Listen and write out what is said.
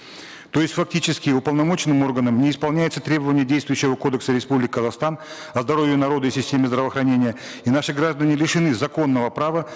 то есть фактически уполномоченным органом не исполняется требование действующего кодекса республики казахстан о здоровье народа и системе здравоохранения и наши граждане лишены законного права